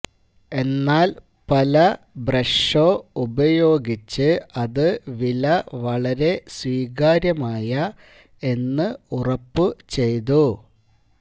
എന്നാൽ പല ബ്രഷോ ഉപയോഗിച്ച് അത് വില വളരെ സ്വീകാര്യമായ എന്ന് ഉറപ്പു ചെയ്തു